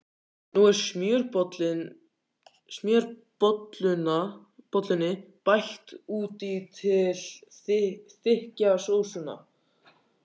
Nú er smjörbollunni bætt út í til að þykkja sósuna.